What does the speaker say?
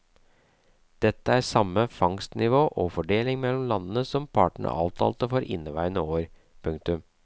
Dette er samme fangstnivå og fordeling mellom landene som partene avtalte for inneværende år. punktum